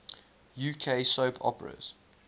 uk soap operas